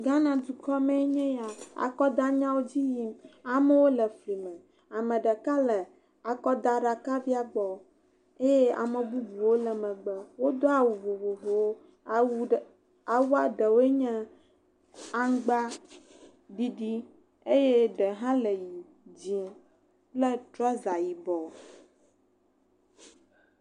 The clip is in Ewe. Ghana dukɔ mee nye ya, akɔdanyawo dziyim, amewo le fli me, ame ɖeka le akɔdaɖakavia gbɔ eye ame bubuwo le megbe. Wodo awu vovovowo, awu ɖewoe nye aŋgba ɖiɖi, eye ɖe hã le ʋɛ̃, dzɛ̃, kple trɔza yibɔ.